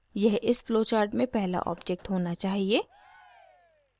यह इस flowchart में पहला object होना चाहिए